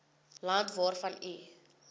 land waarvan u